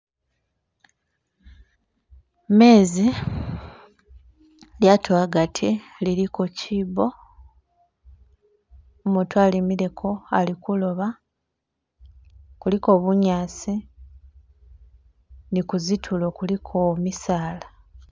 Mezi , lyato agati liliko kiibo umutu alimileko ali kuloba, kuliko bunyasi ni ku zitulo kuliko misala.